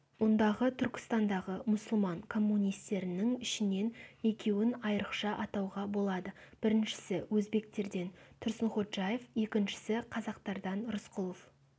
мұндағы түркістандағы мұсылман коммунистерінің ішінен екеуін айрықша атауға болады біріншісі өзбектерден тұрсынходжаев екіншісі қазақтардан рысқұлов